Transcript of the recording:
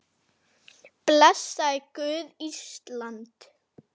Oft voru börnin með.